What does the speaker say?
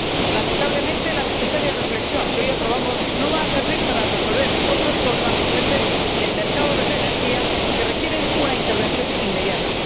Lamentablemente, la necesaria reflexión que hoy aprobamos no va a servir para resolver otros problemas urgentes del mercado de la energía que requieren una intervención inmediata.